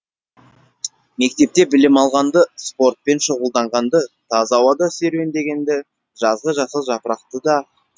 мектепте білім алғанды спортпен шұғылданданғанды таза ауада серуендегенді жазғы жасыл жапырақты да